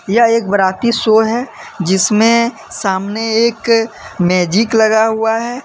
एक बाराती शो है जिसमें सामने एक मैजिक लगा हुआ है।